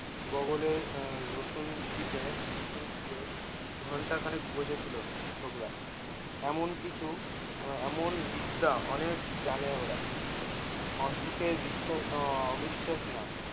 বগলের আহ রসুন চিপে ঘন্টা খানেক বসে ছিলো ছোকরা এমন কিছু আহ এমন বিদ্যা অনেক জানে ওরা অসুখে বিশ্বাস আহ অবিশ্বাস না